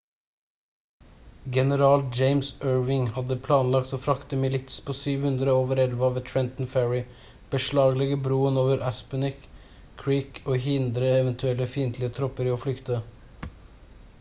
general james ewing hadde planlagt å frakte milits på 700 over elva ved trenton ferry beslaglegge broen over assunpink creek og hindre eventuelle fiendtlige tropper i å flykte